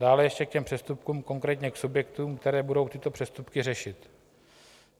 Dále ještě k těm přestupkům, konkrétně k subjektům, které budou tyto přestupky řešit.